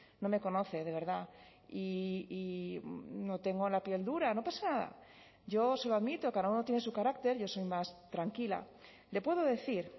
no me conoce de verdad y no tengo la piel dura no pasa nada yo se lo admito cada uno tiene su carácter yo soy más tranquila le puedo decir